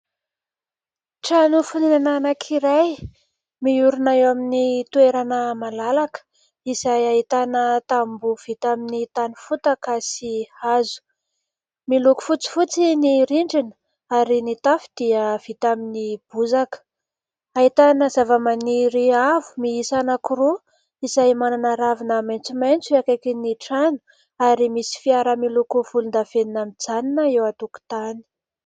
Trano fonenena anankiray miorina eo amin'ny toerana malalaka. Izay ahitana tamboho vita amin'ny tany fotaka sy hazo. Miloko fotsifotsy ny rindrina ary ny tafo dia vita amin'ny bozaka ; ahitana zavamaniry avo miisa anankiroa izay manana ravina maitsomaitso eo akaikin'ny trano, ary misy fiara miloko volondavenona mijanona eo an- tokotany.